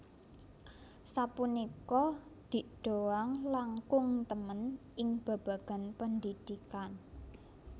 Sapunika Dik Doank langkung temen ing babagan pendidikan